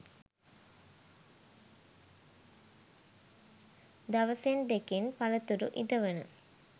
දවසෙන් දෙකෙන් පලතුරු ඉදවන